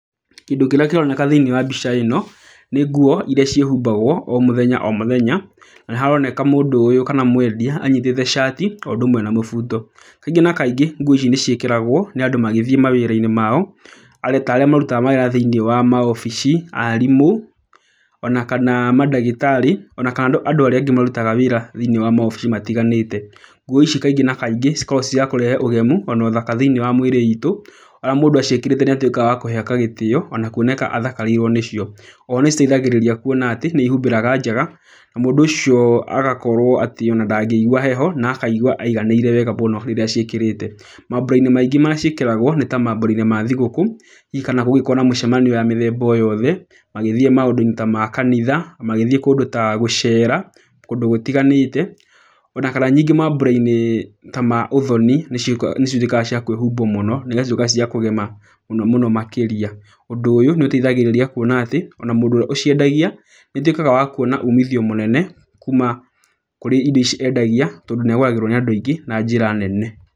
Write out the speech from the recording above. Kĩndũ kĩrĩa kĩroneka thĩiniĩ wa mbica ĩno nĩ nguo iria ciĩhumbagwo o mũthenya o mũthenya, na nĩ haroneka mũndũ ũyũ kana mwendia anyitĩte cati o ũndũ ũmwe na mũbuto, Kaingĩ na kaingĩ, nguo ici nĩ ciĩkĩragwo nĩ andũ magĩthiĩ mawĩra mao, ta arĩa marutaga mawĩra thĩiniĩ wa maobici, arimũ, ona kana mandagĩtarĩ, o na kana andũ arĩa angĩ marutaga wĩra thĩiniĩ wa maobici matiganĩte. Nguo ici kaingĩ na kaingĩ cikoragwo irĩ cia kũrehe ũgemu kana ũthaka thĩiniĩ wa mĩrĩ itũ, ona mũndũ aciĩkĩrĩte nĩ atuĩkaga wa kũheka gĩtĩo ona kuoneka athakarĩirwo nĩcio. O ho nĩ citeithagĩrĩria kuona atĩ nĩ cihumbĩraga njaga, na mũndũ ũcio agakorwo atĩ ona ndangĩgua heho, ona akaigua aiganĩire wega mũno rĩrĩa aciĩkĩrĩte. Mambura-inĩ maingĩ marĩa ciĩkĩragwo nĩ ta mambura-inĩ ma thigũkũ, hihi kana kũngĩkorwo na mĩcemanio ya mĩthemba o yothe, magĩthiĩ maũndũ-inĩ ta ma kanitha, magĩthiĩ kũndũ ta gũcera, kũndũ gũtiganĩte o na kana ningĩ mambura-inĩ ta ma ũthoni, nĩcio ituĩkaga cia kwĩhumbwo mũno na igatuĩka cia kũgema mũno mũno makĩria. Ũndũ ũyũ nĩ ũteithagĩrĩria kuona atĩ, ona mũndũ ũrĩa ũciendagia, nĩ atuĩkaga wa kuona ũmithio mũnene, kuma kũrĩ indo ici endagia, tondũ nĩ agũragĩrwo nĩ andũ aingĩ na njĩra nene.